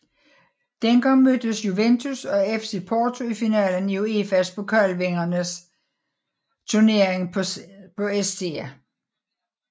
Dengang mødtes Juventus og FC Porto i finalen i UEFA Pokalvindernes Turnering på St